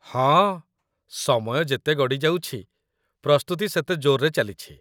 ହଁ, ସମୟ ଯେତେ ଗଡ଼ି ଯାଉଛି, ପ୍ରସ୍ତୁତି ସେତେ ଜୋର୍‌ରେ ଚାଲିଛି